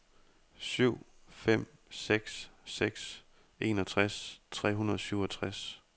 syv fem seks seks enogtres tre hundrede og syvogtres